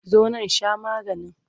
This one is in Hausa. Zo nan sha maganin!